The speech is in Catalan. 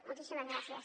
moltíssimes gràcies